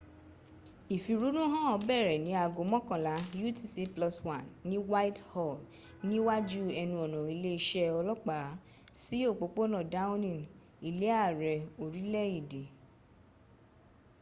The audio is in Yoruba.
ìflrúnú hàn bẹ̀rẹ̀ ní ago mọ́kànlá utc+1 ní whitehall ní wájú ẹnu ọ̀nà ilé iṣẹ́ ọlọ́pàá sí òpópónà downing ilé àrẹ orílẹ̀ èdè